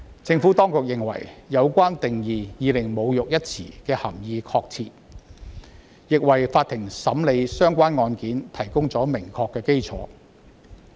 政府當局認為，有關定義已令"侮辱"一詞的涵義確切，亦為法庭審理案件提供了明確的基礎。